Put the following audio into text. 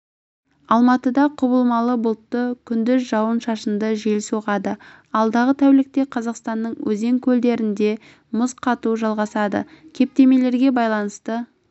алматыда құбылмалы бұлтты күндіз жауын-шашынды жел соғады алдағы тәулікте қазақстанның өзен-көлдерінде мұз қату жалғасады кептемелерге байланысты